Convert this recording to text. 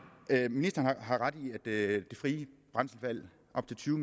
ministeren har ret i at det frie brændselsvalg op til tyve